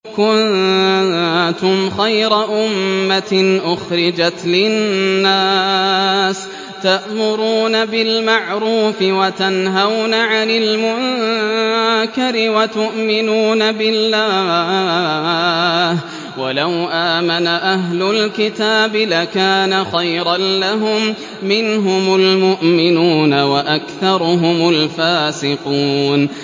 كُنتُمْ خَيْرَ أُمَّةٍ أُخْرِجَتْ لِلنَّاسِ تَأْمُرُونَ بِالْمَعْرُوفِ وَتَنْهَوْنَ عَنِ الْمُنكَرِ وَتُؤْمِنُونَ بِاللَّهِ ۗ وَلَوْ آمَنَ أَهْلُ الْكِتَابِ لَكَانَ خَيْرًا لَّهُم ۚ مِّنْهُمُ الْمُؤْمِنُونَ وَأَكْثَرُهُمُ الْفَاسِقُونَ